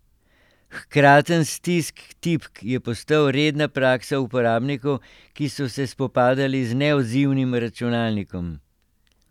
Hkraten stisk tipk je postal redna praksa uporabnikov, ki so se spopadali z neodzivnim računalnikom.